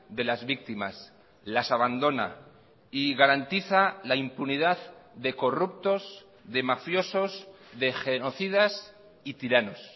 de las víctimas las abandona y garantiza la impunidad de corruptos de mafiosos de genocidas y tiranos